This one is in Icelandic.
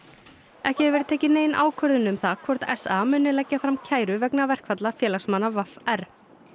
ekki hefur verið tekin nein ákvörðun um það hvort s a muni leggja fram kæru vegna verkfalla félagsmanna v r